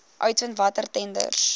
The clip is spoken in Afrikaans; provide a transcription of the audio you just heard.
uitvind watter tenders